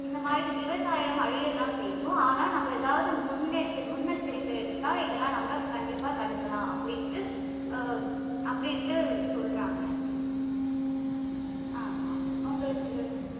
இந்த மாதிரி விவசாயம் அழியத்தான் செய்யும். ஆனா நாம ஏதாவது முன்னெச்ச~ முன்னெச்சரிக்கை எடுத்தா இதையெல்லாம் நாம கண்டிப்பா தடுக்கலாம். அப்படின்னு அஹ் அப்படின்ட்டு சொல்றாங்க. ஆமாம். உங்களுக்கு